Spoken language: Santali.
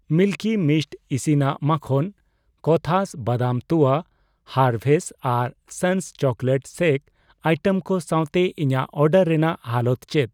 ᱢᱤᱞᱠᱤ ᱢᱤᱥᱴ ᱤᱥᱤᱱᱟᱜ ᱢᱟᱠᱷᱚᱱ, ᱠᱳᱛᱷᱟᱥ ᱵᱟᱫᱟᱢ ᱛᱩᱣᱟ, ᱦᱟᱨᱵᱷᱮᱥ ᱟᱨ ᱥᱚᱱᱥ ᱪᱳᱠᱞᱮᱴ ᱥᱮᱠ ᱟᱭᱴᱮᱢ ᱠᱚ ᱥᱟᱣᱛᱮ ᱤᱧᱟᱜ ᱚᱰᱟᱨ ᱨᱮᱱᱟᱜ ᱦᱟᱞᱚᱛ ᱪᱮᱫ ᱾